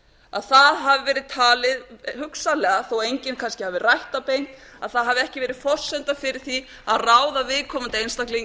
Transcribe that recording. að það hafi verið talið hugsanlega þó að enginn kannski hafi rætt það beint að það hafi ekki verið forsenda fyrir því að ráða viðkomandi einstakling